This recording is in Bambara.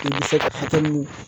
I bɛ se ka fitinin